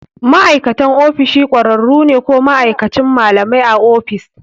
Ma'aikatan ofishin ƙwararru ne ko ma'aikacin malamai a ofis.